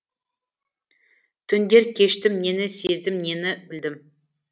түндер кештім нені сездім нені білдім